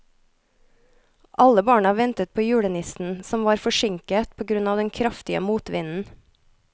Alle barna ventet på julenissen, som var forsinket på grunn av den kraftige motvinden.